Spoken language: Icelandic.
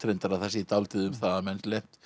að það sé dálítið um það að menn